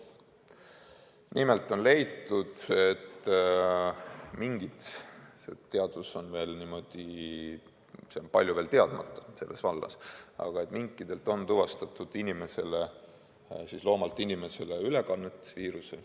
Nimelt on leitud – selles vallas on küll veel palju teadmatust –, et minkide puhul on tuvastatud viiruse loomalt inimesele ülekannet.